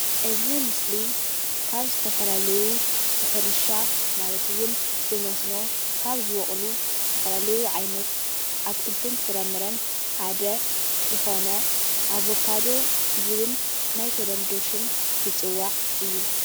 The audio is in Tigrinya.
እዚ ምስሊ ካብ ዝተፈላለዩ ብሕርሻ ማለትውን ብመስኖ ካብ ዝበቁሉ ዝተፋላለዩ ዓይነት አትክልትን ፍራምረን ሓደ ዝኮነ አቨካዶ ዝብል ናይ ተለምዶ ሽም ዝፅዋዕ እዩ።